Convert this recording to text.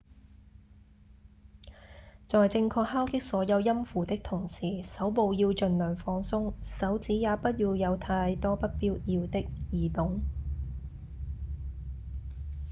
在正確敲擊所有音符的同時手部要盡量放鬆手指也不要有太多不必要的移動